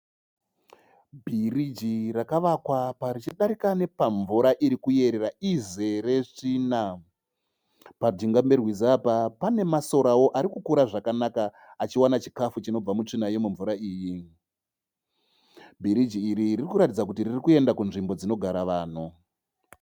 Bhiriji rakavakwa richidarika nepamvura irikuerera izere tsvina. Pajinga perwizi apa pane masorao arikukura zvakanaka achiwana chikafu chinobva mutsvina yemumvura iyi. Bhiriji iri ririkuratidza kuti ririkuenda kunzvimbo dzinogara vanhu.